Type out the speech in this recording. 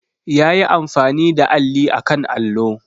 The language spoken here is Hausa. Ya yi amfani da alli a kan allo.